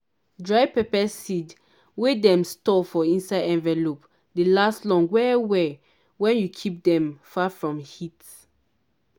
dry pepper seed wey dem store for inside envelope dey last long well well wen you keep dem far from heat.